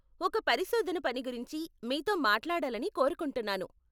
ఒక పరిశోధన పని గురించి మీతో మాట్లాడాలని కోరుకుంటున్నాను.